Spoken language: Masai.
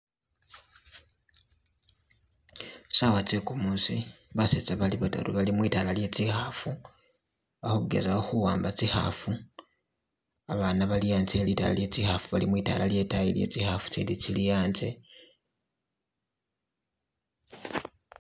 Sawa zegumusi, baseza bali bataru bali mutaala lye zikhafu, bakugezako kuwamba zikhafu, abana bali anze he'litaala lye zikhafu bali mwitaala lye zikhafu zili'anze